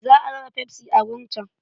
Za a raba fefsi a wurin can.